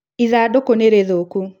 ithandũkũ nĩ rĩthũku